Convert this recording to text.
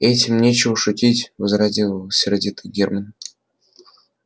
этим нечего шутить возразил сердито германн